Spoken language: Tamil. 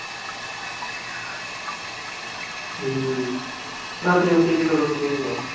உம் ஞாயிற்றுக்கிழமை cricket விளையாட போவீங்களா